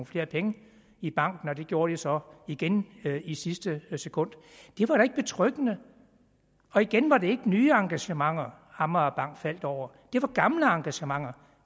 flere penge i banken og det gjorde de så igen i sidste sekund det var da ikke betryggende igen var det ikke nye engagementer amagerbanken faldt over det var gamle engagementer